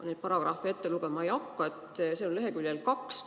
Ma seda paragrahvi ette lugema ei hakka, aga see on leheküljel 2.